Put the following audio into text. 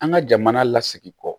An ka jamana lasigi kɔ